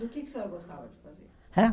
Do que que a senhora gostava de fazer? Hã?